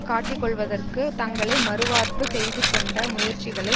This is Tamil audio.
காட்டிக்கொள்வதற்கு தங்களை மறுவார்ப்பு செய்துகொண்ட முயற்சிகளை